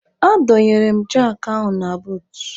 A dọnyere m jakị ahụ na buut.